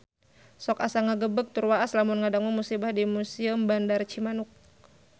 Sok asa ngagebeg tur waas lamun ngadangu musibah di Museum Bandar Cimanuk